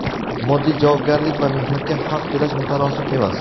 moddiy javobgarlik va mehnatga haq to‘lash mutanosib emas;.